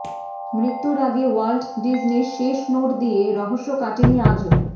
মৃত্যুর আগে ওয়াল্ট ডিজনির শেষ নোট নিয়ে রহস্য কাটেনি আজও